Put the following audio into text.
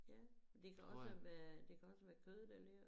Ja det kan også være det kan også være kød der ligger